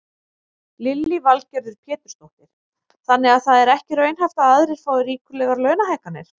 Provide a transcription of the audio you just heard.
Lillý Valgerður Pétursdóttir: Þannig að það er ekki raunhæft að aðrir fái ríkulegar launahækkanir?